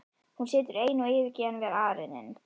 Hún situr ein og yfirgefin við arininn.